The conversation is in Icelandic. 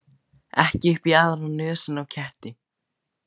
Ekki upp í aðra nösina á ketti.